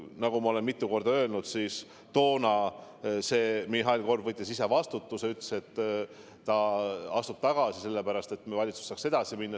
Nagu ma olen mitu korda öelnud, toona võttis Mihhail Korb ise vastutuse enda peale ja ütles, et ta astub tagasi – sellepärast, et siis saab valitsus edasi minna.